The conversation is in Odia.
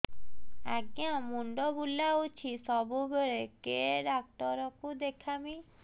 ଆଜ୍ଞା ମୁଣ୍ଡ ବୁଲାଉଛି ସବୁବେଳେ କେ ଡାକ୍ତର କୁ ଦେଖାମି